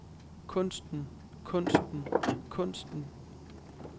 kunsten kunsten kunsten